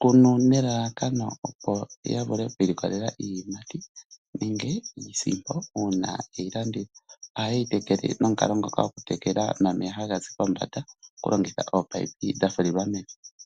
kunu nelalakano ya vule oku ilikolela iiyimati nenge iisimpo uuna ye yi landitha. Ohaye yi tekele nomukalo ngoka gomeya taga zi pombanda okulongitha oopaipi dha fulilwa mevi.